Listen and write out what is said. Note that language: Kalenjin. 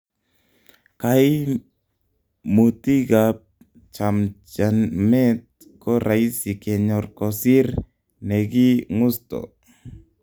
kaimutig ab chamnjamet ko raisi kenyor kosir ne gi ng'usto